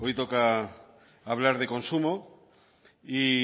toca hablar de consumo y